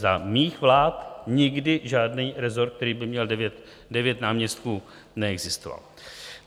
Za mých vlád nikdy žádný rezort, který by měl devět náměstků, neexistoval.